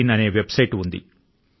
in అనే website ఉంది